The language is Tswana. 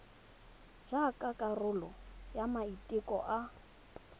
jaaka karolo ya maiteko a